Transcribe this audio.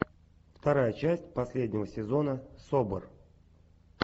вторая часть последнего сезона собр